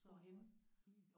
Hvorhenne?